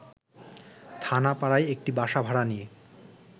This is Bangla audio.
থানাপাড়ায় একটি বাসা ভাড়া নিয়ে